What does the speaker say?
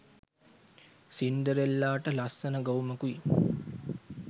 සින්ඩරෙල්ලාට ලස්සන ගවුමකුයි